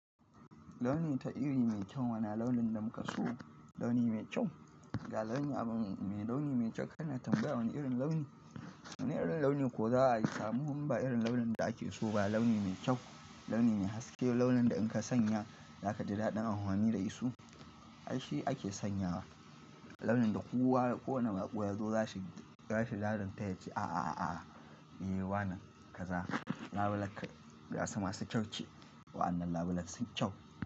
Launi ta iri mai kyau, wane launin da muka so launi mai kyau, ga launi abu mai launi mai kyau kana tambaya wane irin launi, wane irin launi ko za'a samu ba irin launin da ake so ba launi mai kyau, launi mai haske launin da in ka sanya zaka ji daɗin amfani da su, ai shi ake sanyawa. Launin da kowa ko wane baƙo ya zo zai shiga ya fi ladan ta yace a a a a e wanan kaza labule gasa masu kyau ce waɗannan labule sun kyau.